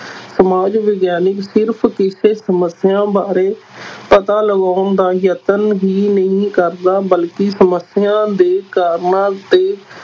ਸਮਾਜ ਵਿਗਿਆਨਕ ਸਿਰਫ਼ ਕਿਸੇ ਸਮੱਸਿਆ ਬਾਰੇ ਪਤਾ ਲਗਾਉਣ ਦਾ ਯਤਨ ਹੀ ਨਹੀਂ ਕਰਦਾ ਬਲਕਿ ਸਮੱਸਿਆ ਦੇ ਕਾਰਨਾਂ ਤੇ